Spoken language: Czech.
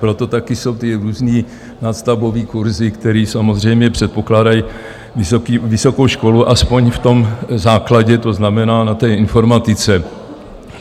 Proto taky jsou ty různé nadstavbové kurzy, které samozřejmě předpokládají vysokou školu aspoň v tom základě, to znamená na té informatice.